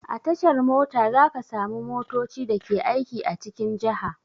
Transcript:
A tashar mota za ka samu motoci da ke aiki a cikin jaha.